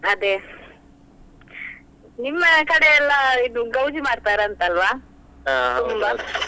ಅದೇ ನಿಮ್ಮ ಕಡೆಯೆಲ್ಲ ಇದು ಗೌಜಿ ಮಾಡ್ತಾರೆ ಅಂತ ಅಲ್ವಾ .